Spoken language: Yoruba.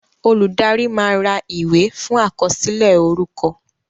Olùdarí máa ra ìwé fún àkọsílẹ̀ orúkọ